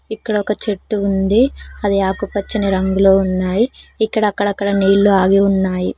ఇక్కడ ఒక చెట్టు ఉంది అది ఆకుపచ్చని రంగులో ఉన్నాయి ఇక్కడ అక్కడక్కడ నీళ్లు ఆగి ఉన్నాయి.